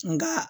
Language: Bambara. Nka